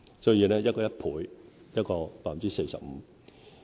所以，一個是1倍，一個是 45%。